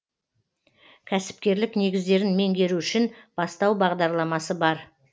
кәсіпкерлік негіздерін меңгеру үшін бастау бағдарламасы бар